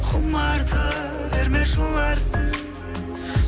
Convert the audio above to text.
құмарта берме жыларсың